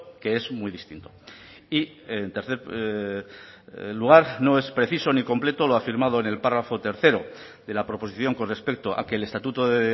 que es muy distinto y en tercer lugar no es preciso ni completo lo afirmado en el párrafo tercero de la proposición con respecto a que el estatuto de